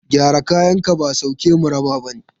Gyara kayanka ba sauke mu raba ba ne.